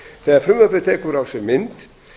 þegar frumvarpið tekur á sig mynd